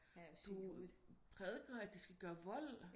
Du prædiker de skal gøre vold